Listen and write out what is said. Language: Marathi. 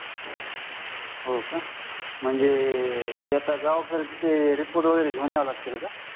हो का म्हणजे ते गावाकडे रिपोर्ट वगैरे घेऊन यावे लागतील का